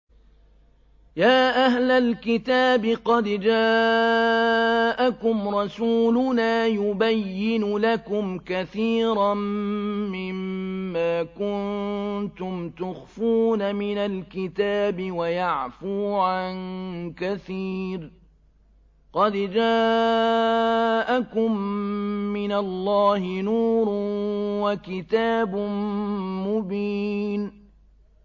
يَا أَهْلَ الْكِتَابِ قَدْ جَاءَكُمْ رَسُولُنَا يُبَيِّنُ لَكُمْ كَثِيرًا مِّمَّا كُنتُمْ تُخْفُونَ مِنَ الْكِتَابِ وَيَعْفُو عَن كَثِيرٍ ۚ قَدْ جَاءَكُم مِّنَ اللَّهِ نُورٌ وَكِتَابٌ مُّبِينٌ